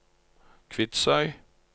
Kvitsøy